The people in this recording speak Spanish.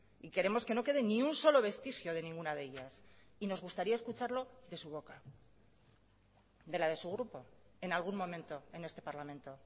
y queremos que no quede ni un solo vestigio de ninguna de ellas y nos gustaría escucharlo de su boca de la de su grupo en algún momento en este parlamento